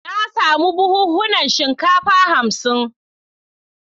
Na samu buhunan shinkafa hamsin.